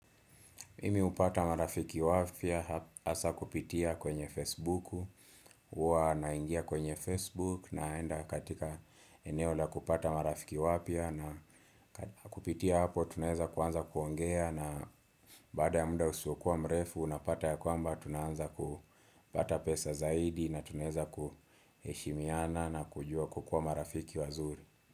Mimi hupata marafiki wapya, hasa kupitia kwenye Facebook, huwa naingia kwenye Facebook naenda katika eneo la kupata marafiki wapya na kupitia hapo tunaweza kuanza kuongea na baada ya muda usiokuwa mrefu, unapata ya kwamba tunaanza kupata pesa zaidi na tunaweza kuheshimiana na kujua kukuwa marafiki wazuri.